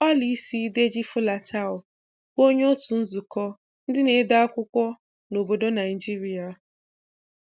Ọla isi Deji-Folatile bụ onye òtù nzukọ ndị na-ede akwụkwọ na obodo Naijiria.